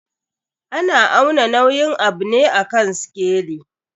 Ana auna nauyin abu ne a kan sikeli.